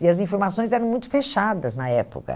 E as informações eram muito fechadas na época.